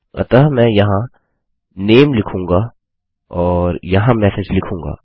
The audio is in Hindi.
अतः मैं यहाँ नामे लिखूंगा और यहाँ मेसेज लिखूंगा